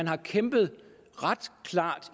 har kæmpet ret klart